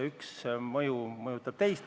Üks asi mõjutab teist.